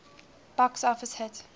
box office hit